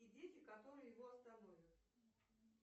и дети которые его остановят